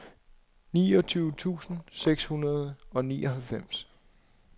niogtyve tusind seks hundrede og nioghalvfems